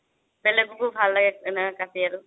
বেলেগকো ভাল লাগে এনেকে কাতি আৰু